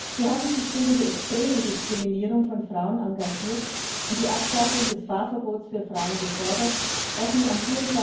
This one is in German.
Sie haben sich gegen die extreme Diskriminierung von Frauen engagiert und die Abschaffung des Fahrverbots für Frauen gefordert, das nun am